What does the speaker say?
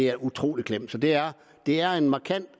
er utrolig klemt så det er er en markant